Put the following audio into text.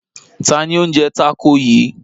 Ta ni ó ń jẹ tákò yìí?